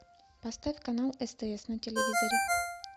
поставь канал стс на телевизоре